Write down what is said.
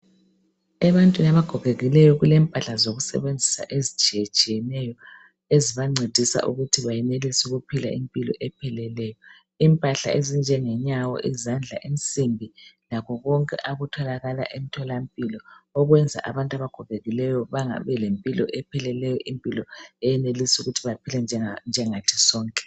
Ebantwini abagogekileyo kulempahla zokusebenzisa ezitshiyetshiyeneyo, ezibancedisa ukuthi bayenelisa ukuphila impilo epheleleyo .Impahla ezinjenge nyawo ,izandla insimbi lakho konke okutholakala emtholampilo okwenza abantu abagogekileyo ,babelempilo eyenelisa ukuthi baphile njengathi sonke.